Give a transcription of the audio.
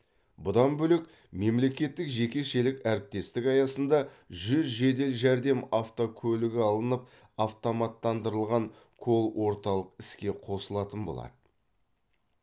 бұдан бөлек мемлекеттік жекешелік әріптестік аясында жүз жедел жәрдем автокөлігі алынып автоматтандырылған колл орталық іске қосылатын болады